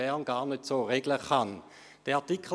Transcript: Wir fahren weiter.